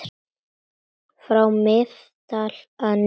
frá Miðdal að neðan.